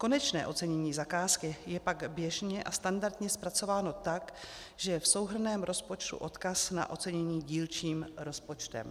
Konečné ocenění zakázky je pak běžně a standardně zpracováno tak, že je v souhrnném rozpočtu odkaz na ocenění dílčím rozpočtem.